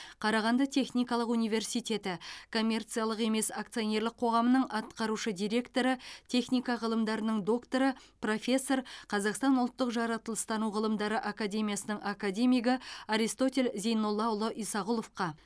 қарағанды техникалық университеті коммерциялық емес акционерлік қоғамының атқарушы директоры техника ғылымдарының докторы профессор қазақстан ұлттық жаратылыстану ғылымдары академиясының академигі аристотель зейноллаұлы исағұловқа